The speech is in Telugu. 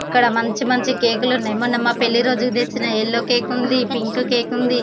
ఇక్కడ మంచి మంచి కేకు లు ఉన్నాయి. మున్నా మా పెళ్లి రోజుకి వచ్చిన యెల్లో కేకు ఉంది పింకు కేకు ఉంది